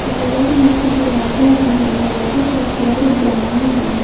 Corridor में एक दरवाजा भी है दरवाजे का कलर ब्राउन है।